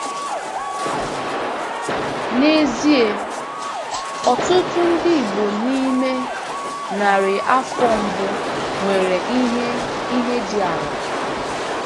N'ezie, ọtụtụ ndị Igbo n'ime narị afọ mbụ nwere ihe ihe dị ala.